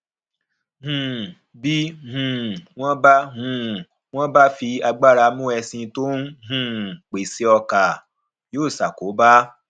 um bí um wón bá um wón bá fi agbára mú ẹṣin tó ń um pèéṣé ọkà yóò ṣàkóbá